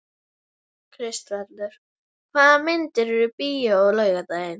Kristvarður, hvaða myndir eru í bíó á laugardaginn?